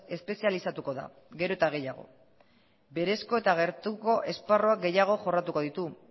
espezializatuko da gero eta gehiago berezko eta gertuko esparruak gehiago jorratuko ditu